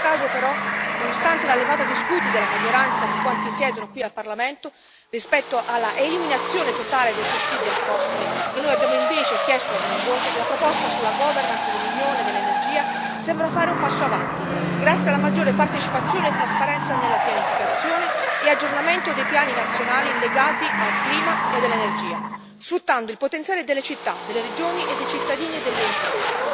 In questo caso, però, nonostante la levata di scudi della maggioranza di quanti siedono qui al Parlamento rispetto all'eliminazione totale dei sussidi al fossile, che noi abbiamo invece chiesto a gran voce, la proposta sulla governance dell'Unione dell'energia sembra fare un passo avanti grazie alla maggiore partecipazione e trasparenza nella pianificazione e all'aggiornamento dei piani nazionali legati al clima e all'energia, sfruttando il potenziale delle città, delle regioni, dei cittadini e delle imprese.